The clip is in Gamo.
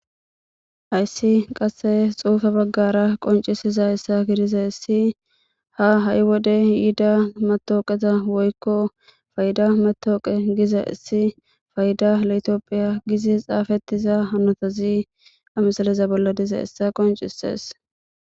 ayssi qasse xuufa baggara qoncisiza essa gidiza essi ha ha7i wode yida matooqeza woykko fayda matooqe giza issi fayda latoophiya gizi xaafettiza hanotazi amasaleza bolla diza essa qoncisees